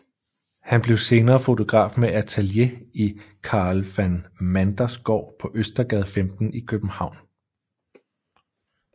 Han blev senere fotograf med atelier i Karel van Manders Gård på Østergade 15 i København